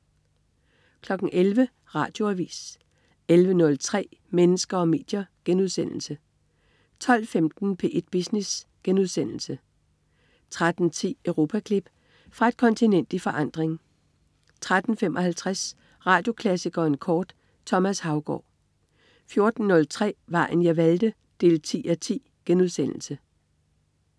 11.00 Radioavis 11.03 Mennesker og medier* 12.15 P1 Business* 13.10 Europaklip. Fra et kontinent i forandring 13.55 Radioklassikeren kort. Thomas Haugaard 14.03 Vejen jeg valgte 10:10*